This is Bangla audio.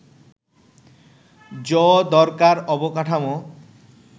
য দরকার অবকাঠামো